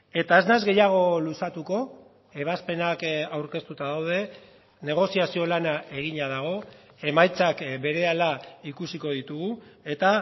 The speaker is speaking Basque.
eta ez nahiz gehiago luzatuko ebazpenak aurkeztuta daude negoziazio lana egina dago emaitzak berehala ikusiko ditugu eta